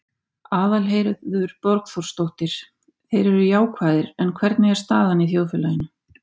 Aðalheiður Borgþórsdóttir: Þeir eru jákvæðir, en hvernig er staðan í þjóðfélaginu?